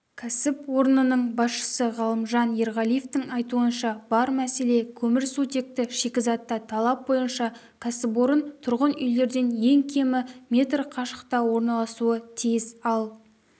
кәсіпорнының басшысы ғалымжан ерғалиевтің айтуынша бар мәселе көмірсутекті шикізатта талап бойынша кәсіпорын тұрғын үйлерден ең кемі метр қашықта орналасуы тиіс ал